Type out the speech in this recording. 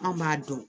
Anw b'a dɔn